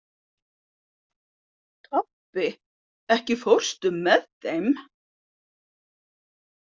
Tobbi, ekki fórstu með þeim?